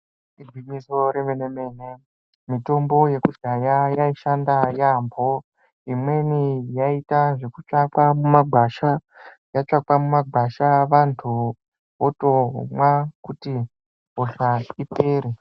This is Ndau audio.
Igwinyiso re mene mene mitombo yekudhaya yai shanda yambo imweni yaita zveku tsvakwa muma gwasha yatsvakwa mu magwasha vantu votomwa kuti hosha ipere.